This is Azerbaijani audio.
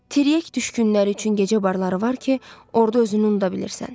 Tiryək düşkünləri üçün gecə barları var ki, orda özünü unuda bilirsən.